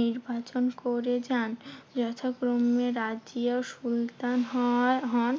নির্বাচন করে যান। যথাক্রমে রাজিয়া সুলতান হওয়া হন।